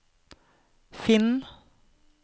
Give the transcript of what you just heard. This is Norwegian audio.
finn